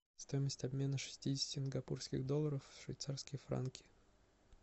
стоимость обмена шестидесяти сингапурских долларов в швейцарские франки